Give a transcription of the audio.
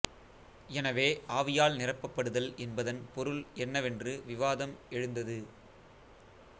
எனவே ஆவியால் நிரப்பப்படுதல் என்பதன் பொருள் என்னவென்று விவாதம் எழுந்தது